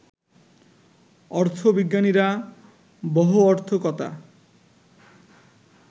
অর্থবিজ্ঞানীরা বহঅর্থকতা